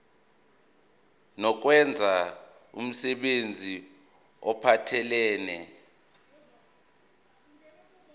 nokwenza umsebenzi ophathelene